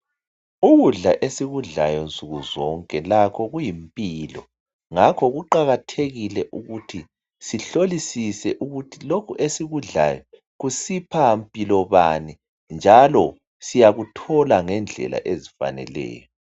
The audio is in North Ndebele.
ukudla esikudlayo nsuku zonke lakho kuyimpilo ngakho kuqakathekile ukuthi sihlolisise ukuthi lokhu esikudlayo kusipha mpilo bani njalo siyakuthola ngendlela ezifaneleyo